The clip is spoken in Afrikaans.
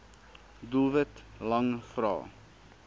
doelwit lang vrae